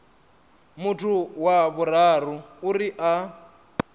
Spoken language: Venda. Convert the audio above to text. muthu wa vhuraru uri a